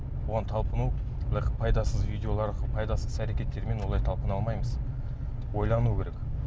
бұған талпыну былай пайдасыз видеолар пайдасыз іс әрекеттермен олай талпына алмаймыз ойлану керек